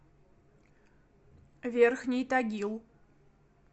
верхний тагил